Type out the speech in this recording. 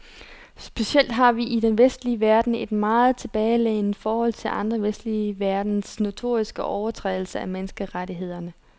Specielt har vi i den vestlige verden et meget tilbagelænet forhold til andre vestlige landes notoriske overtrædelse af menneskerettighederne.